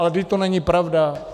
Ale vždyť to není pravda.